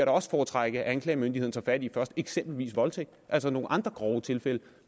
også foretrække at anklagemyndigheden tager fat i først eksempelvis voldtægt altså nogle andre grove tilfælde